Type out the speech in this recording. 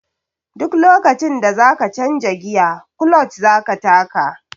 Duk lokacin da za ka canja giya kuloc za ka taka.